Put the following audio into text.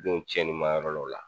Denw cɛnni ma yɔrɔ lɔw la.